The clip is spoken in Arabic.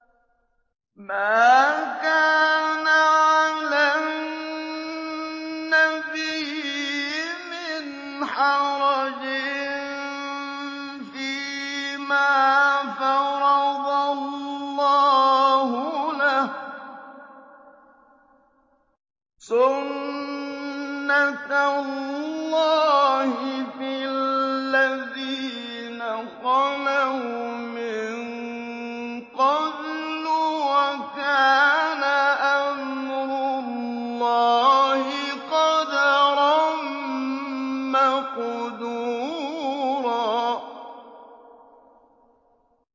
مَّا كَانَ عَلَى النَّبِيِّ مِنْ حَرَجٍ فِيمَا فَرَضَ اللَّهُ لَهُ ۖ سُنَّةَ اللَّهِ فِي الَّذِينَ خَلَوْا مِن قَبْلُ ۚ وَكَانَ أَمْرُ اللَّهِ قَدَرًا مَّقْدُورًا